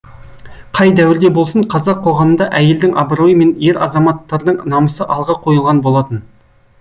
қай дәуірде болсын қазақ қоғамында әйелдің абыройы мен ер азаматтардың намысы алға қойылған болатын